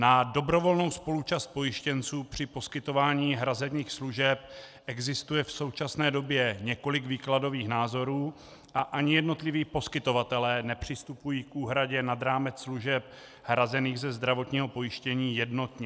Na dobrovolnou spoluúčast pojištěnců při poskytování hrazených služeb existuje v současné době několik výkladových názorů a ani jednotliví poskytovatelé nepřistupují k úhradě nad rámec služeb hrazených ze zdravotního pojištění jednotně.